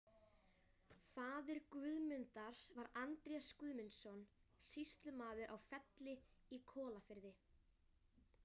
Faðir Guðmundar var Andrés Guðmundsson, sýslumaður á Felli í Kollafirði.